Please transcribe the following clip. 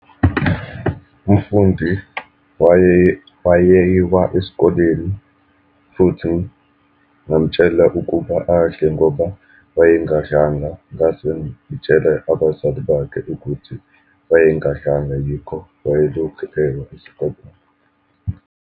Umfundi wayeyiwa esikoleni, futhi ngamtshela ukuba adle ngoba wayengadlanga, ngase ngitshele abazali bakhe ukuthi wayengadlanga, yikho wayelokhu ewa esikoleni.